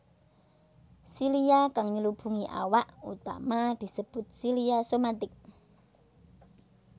Silia kang nyelubungi awak utama disebut silia somatic